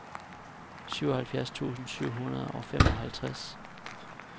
syvoghalvfjerds tusind syv hundrede og femoghalvtreds